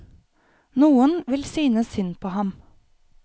Noen vil synes synd på ham.